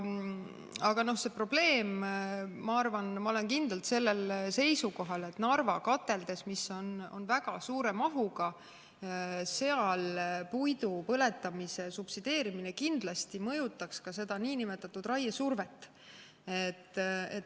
Aga ma olen kindlalt sellel seisukohal, et Narva kateldes, mis on väga suure mahuga, puidu põletamise subsideerimine kindlasti mõjutaks ka raiesurvet.